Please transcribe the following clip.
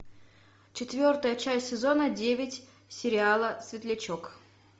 четвертая часть сезона девять сериала светлячок